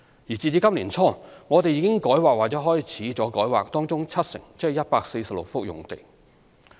截至今年年初，我們已改劃或開始改劃當中七成用地。